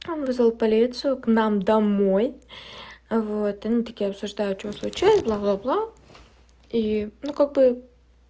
он вызвал полицию к нам домой вот они такие обсуждают что случилось бла-бла и ну как бы